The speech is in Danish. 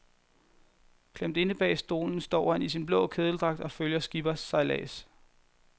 Klemt inde bag stolen står han i sin blå kedeldragt og følger skippers sejlads.